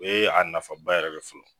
O ye a nafaba yɛrɛ de ye fɔlɔ